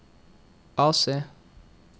AC